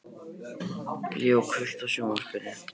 Leo, kveiktu á sjónvarpinu.